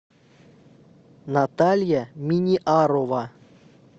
наталья миниарова